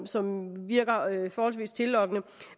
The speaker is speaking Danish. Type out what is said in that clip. som virker forholdsvis tillokkende